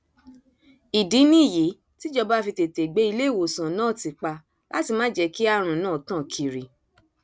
ìdí nìyí tíjọba fi tètè gbé iléewòsàn náà ti pa láti má jẹ kí àrùn náà tàn kiri